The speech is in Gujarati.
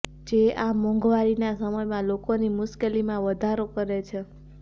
જે આ મોંઘવારીના સમયમાં લોકોની મુશ્કેલીમાં વધારો કરે છે